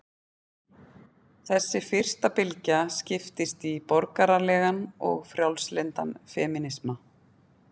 Þessi fyrsta bylgja skiptist í borgaralegan og frjálslyndan femínisma.